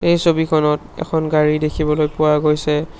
এই ছবিখনত এখন গাড়ী দেখিবলৈ পোৱা গৈছে।